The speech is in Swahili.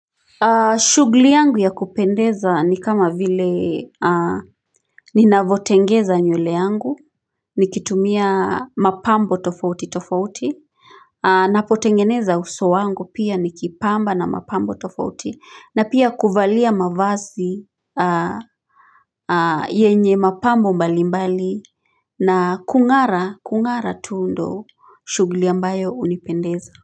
Shughuli yangu ya kupendeza ni kama vile ninavotengeza nywele yangu, nikitumia mapambo tofauti tofauti, napotengeneza uso wangu pia nikipamba na mapambo tofauti, na pia kuvalia mavazi yenye mapambo mbalimbali na kungara, kungara tu ndo shughuli ambayo unipendeza.